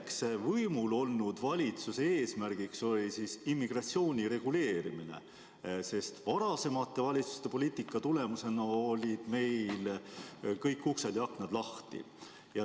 Üks äsja võimul olnud valitsuse eesmärk oli immigratsiooni reguleerimine, sest varasemate valitsuste poliitika tulemusena olid meil kõik uksed ja aknad lahti.